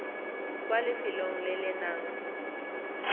kwa lefelong le le nang